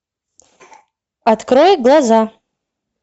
открой глаза